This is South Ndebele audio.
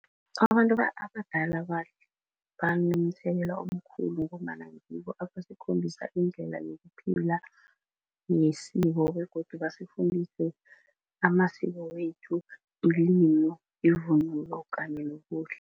Abantu abadala banomthelela omkhulu ngombana ngibo abasikhombisa indlela yokuphila nesiko begodu basifundise amasiko wethu yevunulo kanye